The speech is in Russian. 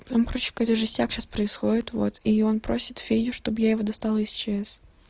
там короче какой-то жестяк сейчас происходит вот и он просит федю чтобы я его достала из чс